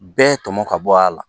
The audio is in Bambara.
Bɛɛ tɔmɔ ka bɔ a la